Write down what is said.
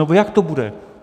Nebo jak to bude?